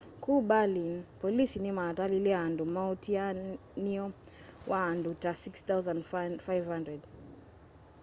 ku berlin polisi nimatalile andu muatianio wa andu ta 6,500